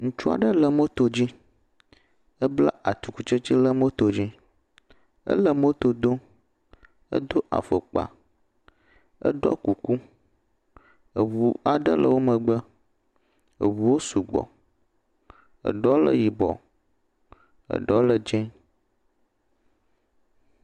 Ŋutsu aɖe le moto dzi. Ebla atikutsetse ɖe moto dzi. Ele moto dom. Edo afɔkpa. Eɖɔ kuku. Eŋu aɖe le wo megbe. Eŋuwo sugbɔ. Eɖewo le yibɔ, eɖewo le dze.